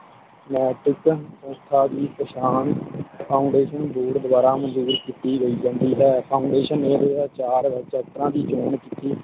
ਨੈਤਿਕ ਸੰਸਥਾ ਦੀ ਪਛਾਣ Foundation ਦੂਰ ਦਵਾਰ ਮੰਜੂਰ ਕੀਤੀ ਗਈ ਜਾਂਦੀ ਹੈ Foundation ਚਾਰ ਵਿਚ ਇਸ ਤਰਾਹ ਦੀ ਚੋਣ ਕੀਤੀ